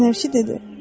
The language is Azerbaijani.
Fənərçi dedi: